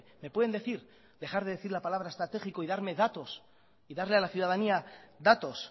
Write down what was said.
me pueden decir dejar de decir la palabra estratégico y darme datos y darle a la ciudadanía datos